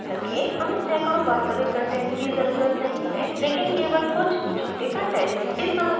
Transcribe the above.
याद रखेंहमें सैंकड़ों वास्तविक कंटेंट्स की ज़रुरत नही है लेकिन केवल कुछ झूठे कंटेंट